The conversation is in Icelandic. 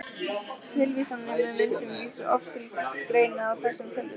Tilvísanir með myndum vísa oft til greina í þessum ritum.